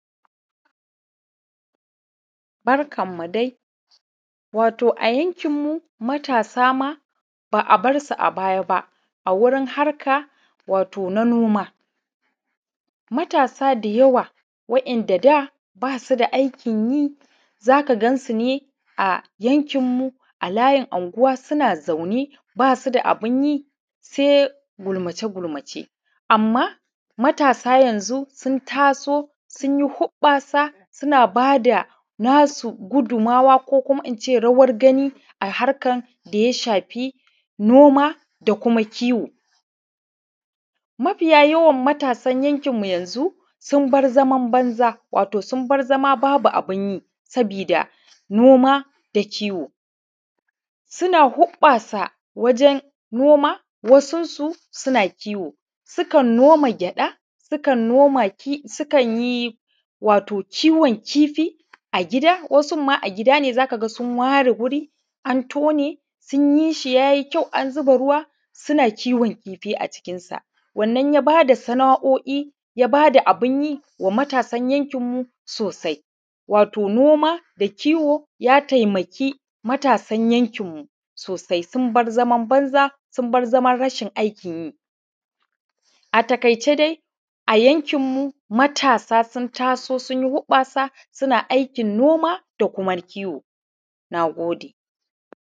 Barkanmu dai. wato a yankinmu dai, matasa ma ba a bar su a baːya ba a wurin harka wato na noma, matasa da yawa, waɗanda da ba su da aikin yi a yankinmu, a layin unguwa, suna zaune, ba su da abun yi, sɛ ɡulmace-ɡulmace, amːfa matasa yanzu sun taso, sun yi hurɓasa, suna nasu ɡudumawa, ko inː ce rawar ɡani a harkan da ya shafi noma ko kuma kiwo. Mafiya yawan matasan yankin yanzu sun bar zaman banza wato sun bar zama babu abin yi, wato saboːda noma da kiwo sun hurɓasa wajen noma, wasunsu sukan yi kiwo, sukan noma ɡyaːda, sukan noma kifi, sukan yi wato kiwon kifi a ɡida. Wasun ma a ɡidane, za ka ɡa sun ware wuri, an tone, sun yi shi ya yi kyau, an zuba ruwa, suna kiwon kifi a cikinːsa. Wannan ya bada sana'oi, ya ba da abun yi wa matasan yankinmu sosai, wato noma da kiwo ya taimake matasan yankinmu sosai wato sun bar zaman banza, sun bar zaman rashin aikin yi. A taƙaicɛ dai, a yankinmu, matasa sun taso, sun yi hurɓasa, suna aikin noma da kuma kiwo. Na ɡodɛ.